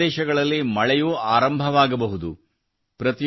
ಕೆಲವು ಪ್ರದೇಶಗಳಲ್ಲಿ ಮಳೆಯೂ ಆರಂಭವಾಗಬಹುದು